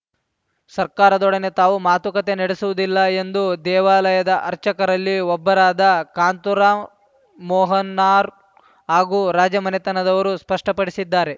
ಸರ್ಕಾರದೊಡನೆ ತಾವು ಮಾತುಕತೆ ನಡೆಸುವುದಿಲ್ಲ ಎಂದು ದೇವಾಲಯದ ಅರ್ಚಕರಲ್ಲಿ ಒಬ್ಬರಾದ ಕಾಂತರಾಂ ಮೋಹನಾರು ಹಾಗೂ ರಾಜಮನೆತನದವರು ಸ್ಪಷ್ಟಪಡಿಸಿದ್ದಾರೆ